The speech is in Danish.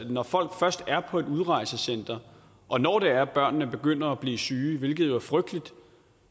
når folk først er på et udrejsecenter og når det er at børnene begynder at blive syge hvilket jo er frygteligt